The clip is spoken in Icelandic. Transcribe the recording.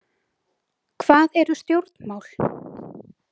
Hvað eru stjórnmál?